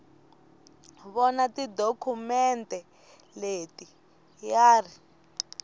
vona tidokhumente leti ya ri